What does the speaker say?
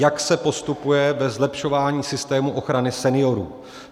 Jak se postupuje ve zlepšování systému ochrany seniorů?